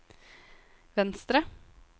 venstre